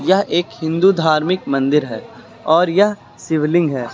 यह एक हिंदू धार्मिक मंदिर है और यह शिवलिंग है।